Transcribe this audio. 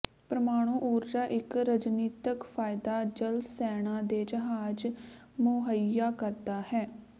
ਪ੍ਰਮਾਣੂ ਊਰਜਾ ਇੱਕ ਰਣਨੀਤਕ ਫਾਇਦਾ ਜਲ ਸੈਨਾ ਦੇ ਜਹਾਜ਼ ਮੁਹੱਈਆ ਕਰਦਾ ਹੈ